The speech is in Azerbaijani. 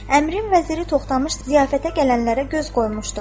Əmirin vəziri Toxtamış ziyafətə gələnlərə göz qoymuşdu.